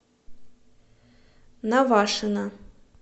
навашино